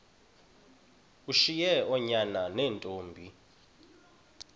ushiye oonyana neentombi